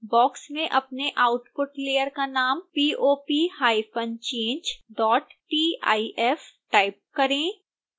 box में अपने output layer का नाम popchangetif टाइप करें